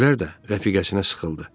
Gülər də rəfiqəsinə sıxıldı.